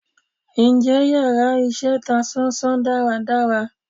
Njẹ íyarà iṣẹ ta sán-sán dàra dàrá?